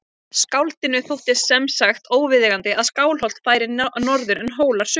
Skáldinu þótti sem sagt óviðeigandi að Skálholt færi norður en Hólar suður.